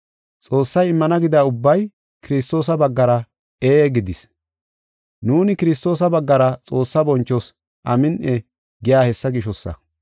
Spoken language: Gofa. Xoossay immana gida ubbay Kiristoosa baggara “Ee” gidees. Nuuni Kiristoosa baggara Xoossaa bonchoos, “Amin7i” gey hessa gishosa.